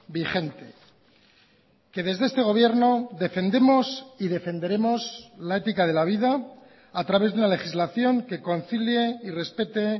vigente que desde este gobierno defendemos y defenderemos la ética de la vida a través de una legislación que concilie y respete